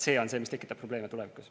See on see, mis tekitab probleeme tulevikus.